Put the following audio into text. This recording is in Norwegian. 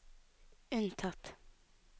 unntatt